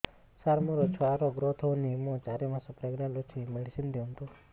ସାର ମୋର ଛୁଆ ର ଗ୍ରୋଥ ହଉନି ମୁ ଚାରି ମାସ ପ୍ରେଗନାଂଟ ଅଛି ମେଡିସିନ ଦିଅନ୍ତୁ